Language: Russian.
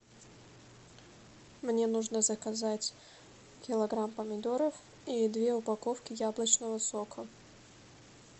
мне нужно заказать килограмм помидоров и две упаковки яблочного сока